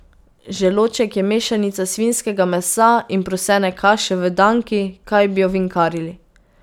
Želodček je mešanica svinjskega mesa in prosene kaše, v danki, kaj bi ovinkarili.